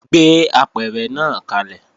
Gbé apẹ̀rẹ̀ náà kalẹ̀!